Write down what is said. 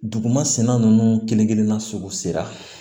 Duguma senna ninnu kelen kelen na sugu sera